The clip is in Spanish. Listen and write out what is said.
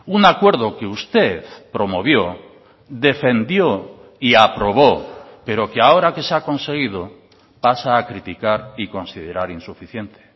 un acuerdo que usted promovió defendió y aprobó pero que ahora que se ha conseguido pasa a criticar y considerar insuficiente